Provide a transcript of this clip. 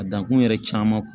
A dankun yɛrɛ caman